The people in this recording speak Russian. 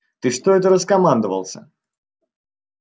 ты что это раскомандовался